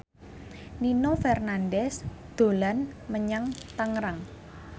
Nino Fernandez dolan menyang Tangerang